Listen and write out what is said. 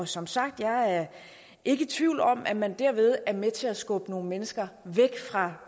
som sagt er jeg ikke i tvivl om at man derved er med til at skubbe nogle mennesker væk fra